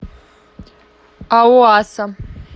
ауаса